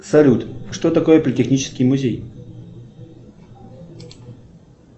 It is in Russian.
салют что такое политехнический музей